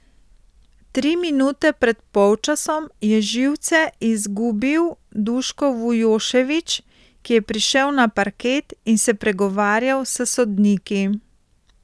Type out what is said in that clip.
Tri minute pred polčasom je živce izgubil Duško Vujošević, ki je prišel na parket in se pregovarjal s sodniki.